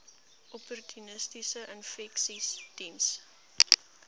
opportunistiese infeksies diens